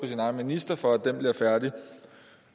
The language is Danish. sin egen minister for at få den gjort færdig